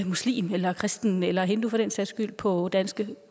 muslim eller kristen eller hindu for den sags skyld på danske